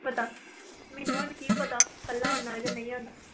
ਪਤਾ, ਮੈਨੂੰ ਹੁਣ ਕੀ ਪਤਾ ਇਕੱਲਾ ਆਉਨਾ ਜਾਂ ਨਹੀਂ ਆਉਂਦਾ।